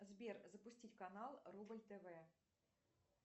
сбер запустить канал рубль тв